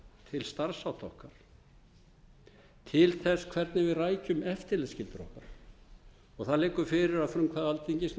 til starfshátta okkar til þess hvernig við rækjum eftirlitsskyldur okkar það liggur fyrir að frumkvæði alþingis